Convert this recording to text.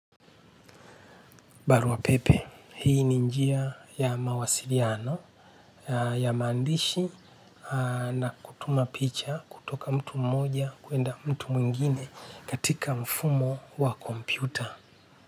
Barua pepe, hii ni njia ya mawasiliano ya maandishi na kutuma picha kutoka mtu mmoja kuenda mtu mwingine katika mfumo wa kompyuta.